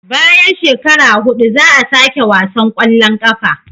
Bayan shekara hudu za a sake wasan kwallon kafa